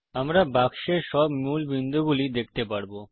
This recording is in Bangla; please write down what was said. আমরা বাক্সের সব মূল বিন্দু গুলি দেখতে পারব